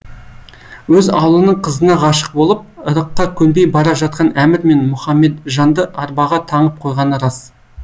өз ауылының қызына ғашық болып ырыққа көнбей бара жатқан әмір мен мұхамеджанды арбаға таңып қойғаны рас